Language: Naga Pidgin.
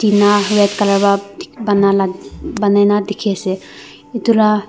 ena red colour para bana la bani na dikhi ase etu ra.